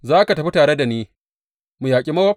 Za ka tafi tare da ni mu yaƙi Mowab?